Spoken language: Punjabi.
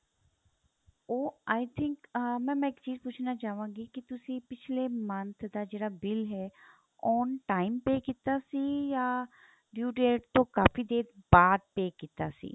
ਉਹ i think ah mam ਮੈਂ ਇੱਕ ਚੀਜ਼ ਪੁੱਛਣਾ ਚਾਵਾਂਗੀ ਕੀ ਤੁਸੀਂ ਪਿੱਛਲੇ month ਦਾ ਜਿਹੜਾ bill ਹੈ on time pay ਕੀਤਾ ਸੀ ਜਾਂ due date ਤੋਂ ਕਾਫੀ ਦੇਰ ਬਾਅਦ pay ਕੀਤਾ ਸੀ